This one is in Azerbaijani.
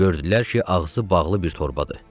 Gördülər ki, ağzı bağlı bir torbadır.